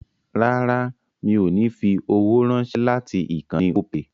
Rárá mi ò ní fi owó ránṣẹ́ láti ìkànnì Opay